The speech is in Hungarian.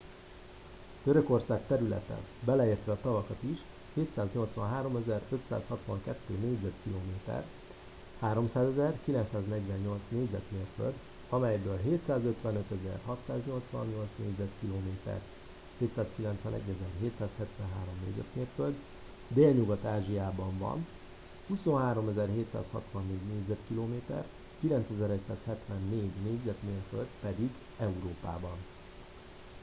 törökország területe - beleértve a tavakat is - 783 562 négyzetkilométer 300 948 négyzetmérföld melyből 755 688 négyzetkilométer 291 773 négyzetmérföld délnyugat-ázsiában van 23 764 négyzetkilométer 9174 négyzetmérföld pedig európában